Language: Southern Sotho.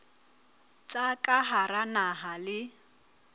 tsa ka hara naha le